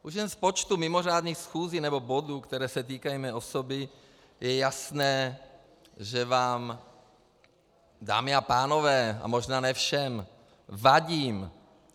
Už jen z počtu mimořádných schůzí nebo bodů, které se týkají mé osoby, je jasné, že vám, dámy a pánové, a možná ne všem, vadím.